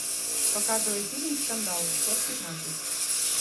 показывай фильм скандал часть пятнадцать